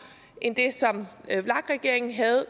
end det som vlak regeringen havde